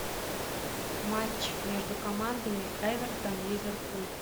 матч между командами эвертон ливерпуль